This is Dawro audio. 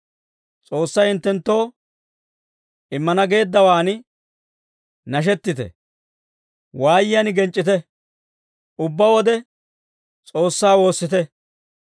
S'oossay hinttenttoo immana geeddawaan nashettite; waayiyaan genc'c'ite. Ubbaa wode S'oossaa woossite;